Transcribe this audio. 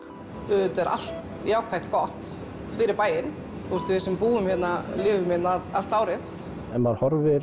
auðvitað er allt jákvætt gott fyrir bæinn við sem búum hérna lifum hérna allt árið ef maður horfir